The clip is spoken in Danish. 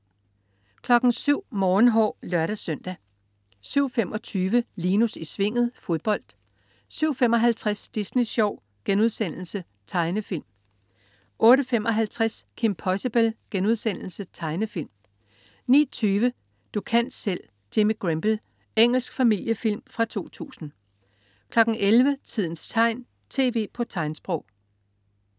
07.00 Morgenhår (lør-søn) 07.25 Linus i Svinget. Fodbold 07.55 Disney Sjov.* Tegnefilm 08.55 Kim Possible.* Tegnefilm 09.20 Du kan selv, Jimmy Grimble! Engelsk familiefilm fra 2000 11.00 Tidens tegn, tv på tegnsprog